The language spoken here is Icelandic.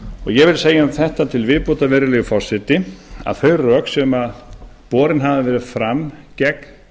ég vil segja um þetta til viðbótar virðulegi forseti að þau rök sem borin hafa verið fram gegn